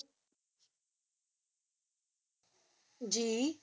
ਜੀ